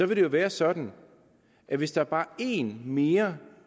vil det jo være sådan at hvis der bare er en mere